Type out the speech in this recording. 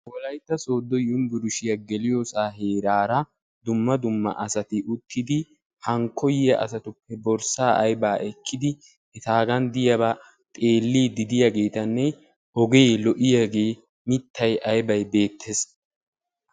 Wolaytta soodo yunbbursstiya geliyo sohuwa cora asatti geliya asatta koyiyyagettinne ogenen mittay beetees.